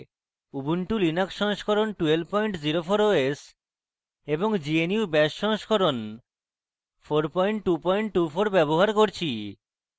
ubuntu linux সংস্করণ 1204 os এবং gnu bash সংস্করণ 4224 ব্যবহার করছি